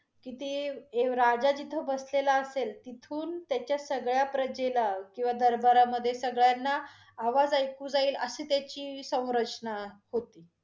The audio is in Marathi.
तिथे एव् राजा जिथे बसलेला असेल, तिथून त्याच्या सगळ्या प्रजेला किंवा दरबारामधे सगळ्यांना आवाज ऐकू जाईल, अशी त्याची संरचना होती.